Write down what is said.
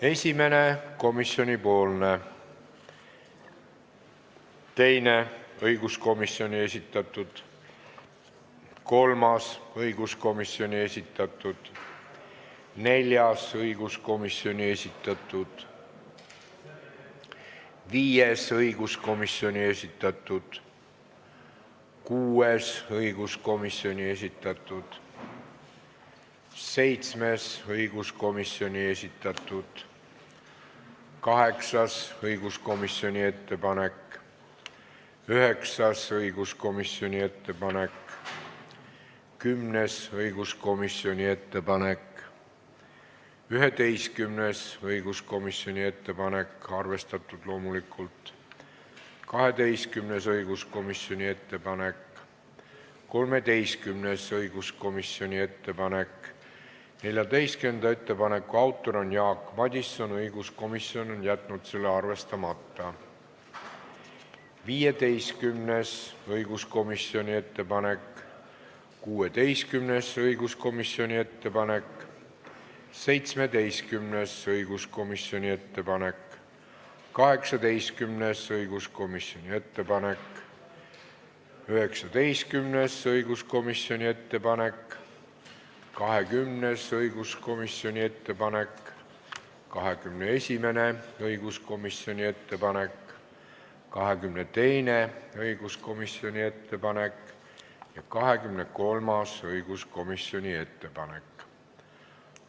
Esimene on komisjoni ettepanek, teine ettepanek on õiguskomisjoni esitatud, kolmas on õiguskomisjoni esitatud, neljas on õiguskomisjoni esitatud, viies on õiguskomisjoni esitatud, kuues on õiguskomisjoni esitatud, seitsmes on õiguskomisjoni esitatud, kaheksas on õiguskomisjoni ettepanek, üheksas on õiguskomisjoni ettepanek, kümnes on õiguskomisjoni ettepanek, 11. ettepanek on õiguskomisjonilt, loomulikult arvestatud, 12. ettepanek on õiguskomisjonilt, 13. ettepanek on õiguskomisjonilt, 14. ettepaneku autor on Jaak Madison, õiguskomisjon on jätnud arvestamata, 15. ettepanek on õiguskomisjonilt, 16. ettepanek on õiguskomisjonilt, 17. ettepanek on õiguskomisjonilt, 18. ettepanek on õiguskomisjonilt, 19. ettepanek on õiguskomisjonilt, 20. ettepanek on õiguskomisjonilt, 21. ettepanek on õiguskomisjonilt, 22. ettepanek on õiguskomisjonilt ja 23. ettepanek on õiguskomisjonilt.